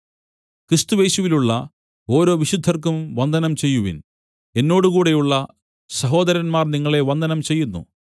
ക്രിസ്തുയേശുവിലുള്ള ഓരോ വിശുദ്ധർക്കും വന്ദനം ചെയ്യുവിൻ എന്നോടുകൂടെയുള്ള സഹോദരന്മാർ നിങ്ങളെ വന്ദനം ചെയ്യുന്നു